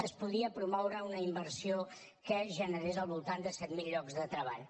es podia promoure una inversió que generés al voltant de set mil llocs de treball